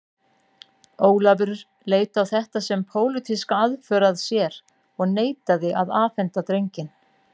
Ólafur leit á þetta sem pólitíska aðför að sér og neitaði að afhenda drenginn.